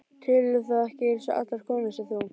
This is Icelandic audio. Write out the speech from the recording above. Telurðu þá ekki eins og allar konurnar sem þú?